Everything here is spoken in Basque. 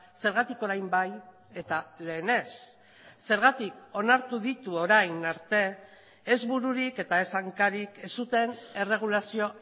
zergatik orain bai eta lehen ez zergatik onartu ditu orain arte ez bururik eta ez hankarik ez zuten erregulazio